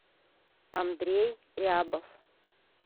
андрей рябов